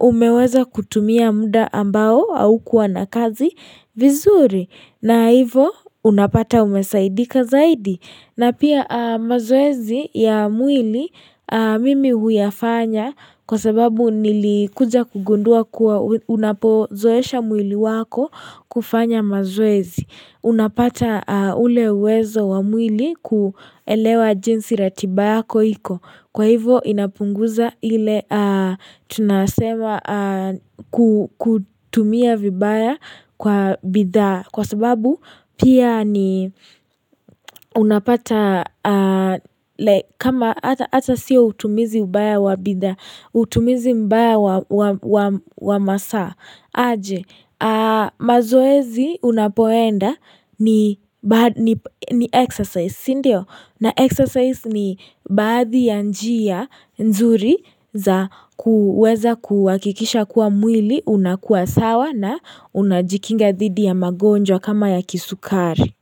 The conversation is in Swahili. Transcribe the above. umeweza kutumia muda ambao au kuwa na kazi vizuri. Na hivo unapata umesaidika zaidi. Na pia mazoezi ya mwili mimi huyafanya kwa sababu nilikuja kugundua kuwa unapozoesha mwili wako kufanya mazoezi. Unapata ule uwezo wa mwili kuelewa jinsi ratiba yako iko Kwa hivo inapunguza ile tunasema kutumia vibaya kwa bidhaa Kwa sababu pia ni unapata kama hata si utumizi mbaya wa bidhaa Utumizi mbaya wa masaa aje, mazoezi unapoenda ni exercise sindio, na exercise ni baadhi ya njia nzuri za kuweza kuhakikisha kuwa mwili, unakua sawa na unajikinga dhidi ya magonjwa kama ya kisukari.